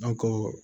An ko